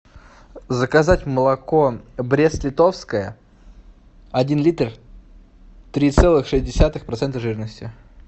заказать молоко брест литовское один литр три целых шесть десятых процента жирности